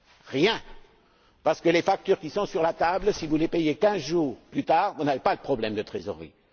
Rien, parce que les factures qui sont sur la table, si vous les payez quinze jours plus tard, vous n'avez pas de problème de trésorerie.